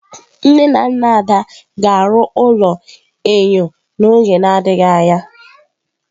Nne na nna Ada ga-arụ ụlọ enyo n'oge na-adịghị anya.